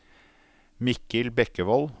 Mikkel Bekkevold